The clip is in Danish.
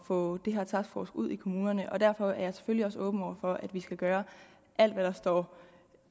få den her taskforce ud i kommunerne derfor er jeg selvfølgelig også åben over for at vi skal gøre alt hvad der står